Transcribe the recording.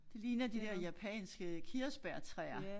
Det ligner de der japanske kirsebærtræer